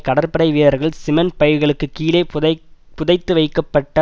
கடற்படை வீரர்கள் சிமெண்ட் பைகளுக்குக் கீழே புதை புதைத்துவைக்கப்பட்ட